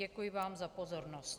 Děkuji vám za pozornost.